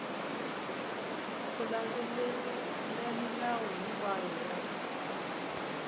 u landzelerile milawu hinkwayo ya